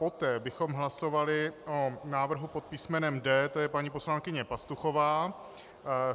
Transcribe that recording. Poté bychom hlasovali o návrhu pod písmenem D, to je paní poslankyně Pastuchová.